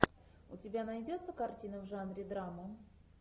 у тебя найдется картина в жанре драма